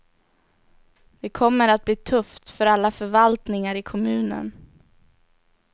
Det kommer att bli tufft för alla förvaltningar i kommunen.